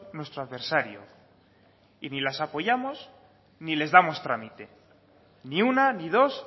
nuestro adversario y ni las apoyamos ni les damos trámite ni una ni dos